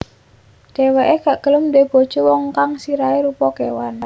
Dheweke gak gelem duwé bojo wong kang sirahe rupa kewan